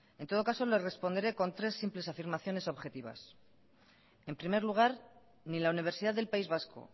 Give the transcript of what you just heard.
en todo caso le responderé con tres simples afirmaciones objetivas en primer lugar ni la universidad del país vasco